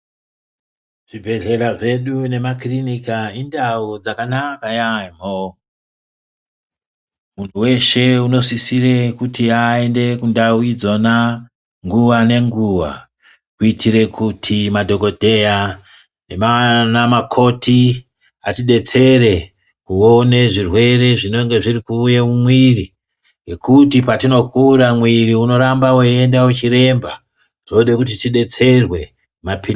Zvibhehlera zvedu nemakirinika indau dzakanaka yamho munhu weshe unosisire kuti aende kundau idzona nguwa nenguwa kuitire kuti madhokodheya nanamukoti atidetsere kuone zvirwere zvinonga zvirikuuye mumwiri ngekuti patinokura mwiri unoramba weienda wechiremba tode kuti tidetserwe.